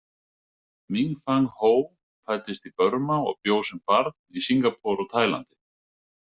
Minfong Ho fæddist í Burma og bjó sem barn í Singapore og Taílandi.